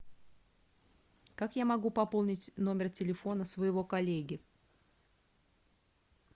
как я могу пополнить номер телефона своего коллеги